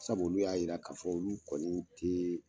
Sabu olu y'a yira k'a fɔ olu kɔni te